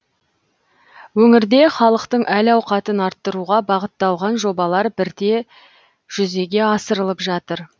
өңірде халықтың әл ауқатын арттыруға бағытталған жобалар бірте жүзеге асырылып жатыр